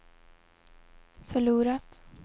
förlorat